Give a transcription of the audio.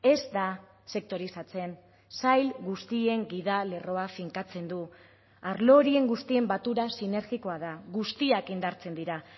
ez da sektorizatzen sail guztien gidalerroa finkatzen du arlo horien guztien batura sinergikoa da guztiak indartzen dira